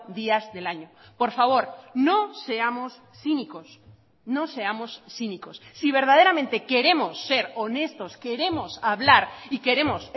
días del año por favor no seamos cínicos no seamos cínicos si verdaderamente queremos ser honestos queremos hablar y queremos